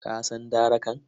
Ka san darakan?